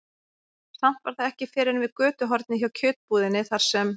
Samt var það ekki fyrr en við götuhornið hjá kjötbúðinni, þar sem